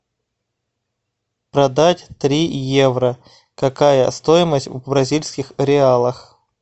продать три евро какая стоимость в бразильских реалах